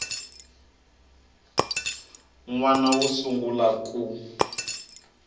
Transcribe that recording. n wana wo sungula ku